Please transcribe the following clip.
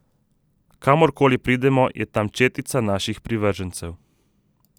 Kamor koli pridemo, je tam četica naših privržencev.